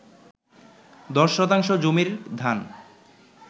১০ শতাংশ জমির ধান